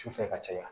Su fɛ ka caya